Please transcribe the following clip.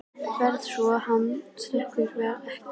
VARLEGA svo hann steypist ekki ofan í hyldýpið.